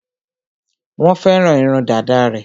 Wọ́n fẹ́ràn irun dàda rẹ̀.